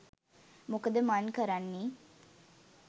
මොකද මන් කරන්නේ?